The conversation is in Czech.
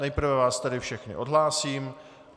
Nejprve vás tedy všechny odhlásím.